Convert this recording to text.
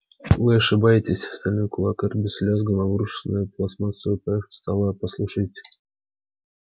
вы ошибаетесь стальной кулак эрби с лязгом обрушился на пластмассовую поверхность стола послушайте